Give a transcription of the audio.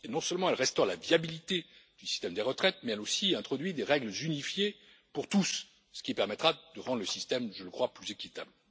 Non seulement, elle restaure la viabilité du système des retraites mais, elle introduit aussi des règles unifiées pour tous, ce qui permettra de rendre le système, je le crois, plus équitable.